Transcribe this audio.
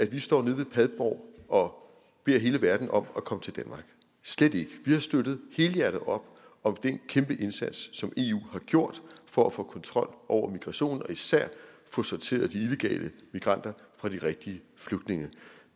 vi står nede ved padborg og beder hele verden om at komme til danmark slet ikke vi har støttet helhjertet op om den kæmpe indsats som eu har gjort for at få kontrol over migrationen og især få sorteret de illegale migranter fra de rigtige flygtninge